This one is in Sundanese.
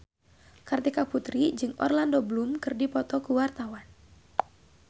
Kartika Putri jeung Orlando Bloom keur dipoto ku wartawan